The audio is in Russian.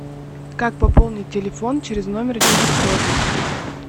как пополнить телефон через номер девятьсот